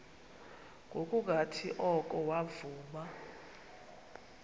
ngokungathi oko wavuma